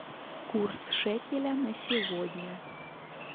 курс шекеля на сегодня